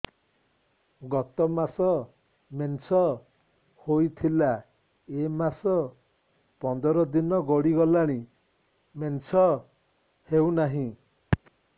ଗତ ମାସ ମେନ୍ସ ହେଇଥିଲା ଏ ମାସ ପନ୍ଦର ଦିନ ଗଡିଗଲାଣି ମେନ୍ସ ହେଉନାହିଁ